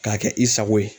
K'a kɛ i sago ye